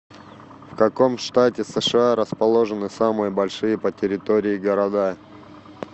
в каком штате сша расположены самые большие по территории города